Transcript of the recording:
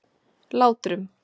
Látrum